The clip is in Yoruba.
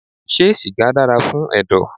Ṣé sìgá dára fún ẹ̀dọ̀.?